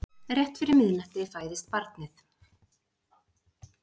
Rétt fyrir miðnætti fæðist barnið.